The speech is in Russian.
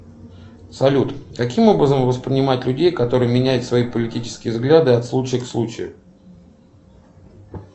салют каким образом воспринимать людей которые меняют свои политические взгляды от случая к случаю